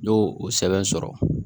N y'o o sɛbɛn sɔrɔ